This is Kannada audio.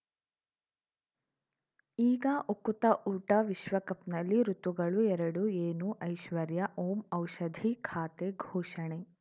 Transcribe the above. ಈಗ ಉಕುತ ಊಟ ವಿಶ್ವಕಪ್‌ನಲ್ಲಿ ಋತುಗಳು ಎರಡು ಏನು ಐಶ್ವರ್ಯಾ ಓಂ ಔಷಧಿ ಖಾತೆ ಘೋಷಣೆ